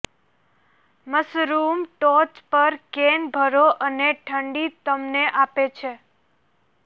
mushrooms ટોચ પર can ભરો અને ઠંડી તેમને આપે છે